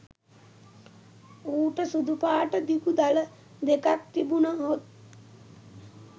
ඌට සුදු පාට දිගු දළ දෙකක් තිබුණහොත්